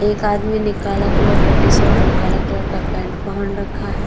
एक आदमी ने काला कलर का टी-शर्ट और काला कलर का पेण्ट पहन रखा है।